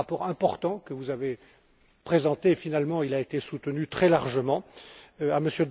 ce rapport. C'est un rapport important que vous avez présenté et qui a été soutenu très largement.